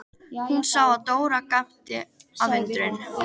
Hún sá að Dóra gapti af undrun.